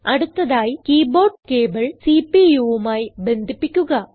അടുത്തതായി keyboard cable CPUമായി ബന്ധിപ്പിക്കുക